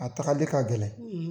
A tagali de k ka gɛlɛn,